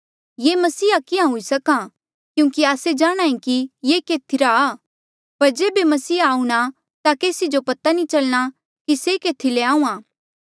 ये मसीहा किहाँ हुई सकां क्यूंकि आस्से जाणहां ऐें कि ये केथीरा आ पर जेबे मसीहा आऊंणा ता केसी जो पता नी चलणा कि से केथी ले आऊंणा